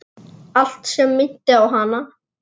Allt sem minnti á hana.